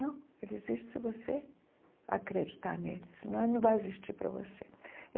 Não, Ele existe se você acreditar nEle, senão Ele não vai existir para você.